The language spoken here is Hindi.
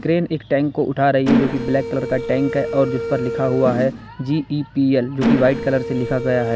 क्रेन एक टैंक को उठा रही है जो की ब्लैक कलर का टैंक है और जिस पर लिखा हुआ है जी_टी_पी_एल जो की वाइट कलर से लिखा गया है।